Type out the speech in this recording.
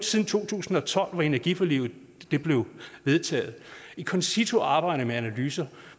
siden to tusind og tolv hvor energiforliget blev vedtaget i concito arbejder man med analyser og